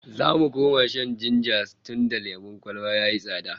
Za mu koma shan jinja tunda lemon kwalba yayi tsada